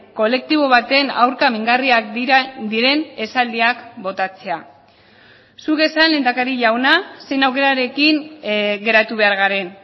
kolektibo baten aurka mingarriak diren esaldiak botatzea zuk esan lehendakari jauna zein aukerarekin geratu behar garen